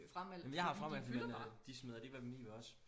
jeg har frameldt dem men øh de smider dem alligevel i ved os